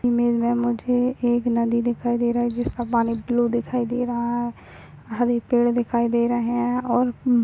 image में मुझे एक नदी दिखाई दे रही है जिसका पानी ब्लू दिखाई दे रहा है हरे पेड़ दिखाई दे रहे है और--